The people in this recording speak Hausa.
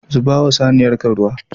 Zubawa saniyarka ruwa.